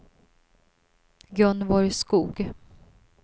Gunvor Skog